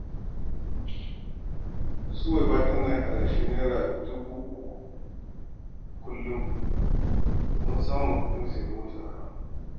Suwaiba tana yin adashin Naira dubu uku kullum domin ta samu kuɗin siyan motar haya.